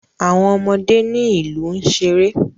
Àwọn ọmọdé ní ìlú n ṣeré.